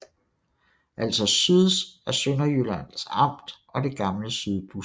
Altså SYDS er Sønderjyllands Amt og det gamle Sydbus